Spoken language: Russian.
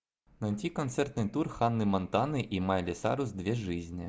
найти концертный тур ханны монтаны и майли сайрус две жизни